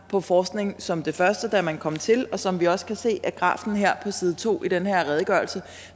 på forskning som det første da man kom til og som vi også kan se af grafen her på side to i den her redegørelse